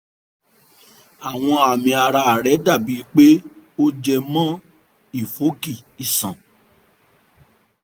àwọn àmì ara rẹ dàbí pé ó jẹ mọ́ ìfọ́nkí iṣan